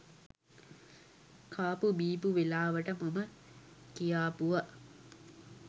කාපු බීපු වෙලාවට මම කියාපුව